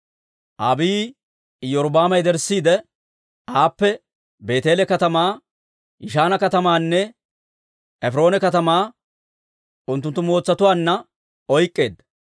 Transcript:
Abiiyi Iyorbbaama yederssiide, aappe Beeteele katamaa, Yishaana katamaanne Efiroona katamaa unttunttu mootsatuwaanna oyk'k'eedda.